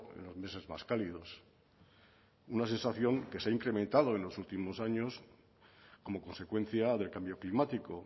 en los meses más cálidos una sensación que se ha incrementado en los últimos años como consecuencia del cambio climático